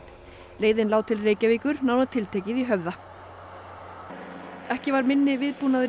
leiðin lá til Reykjavíkur nánar tiltekið í Höfða ekki var minni viðbúnaður í